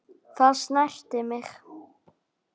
Það snerti mig.